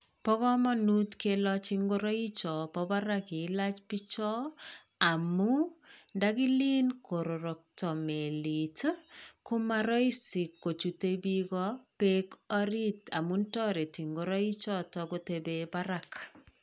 Bo kamanut kilach ngoraik chobo barak kilach bichoo. Amu ndagilen karorokto melit komaraisi kochutei bikoo beek orit amu tareti ngorai choto kotebee beek barak.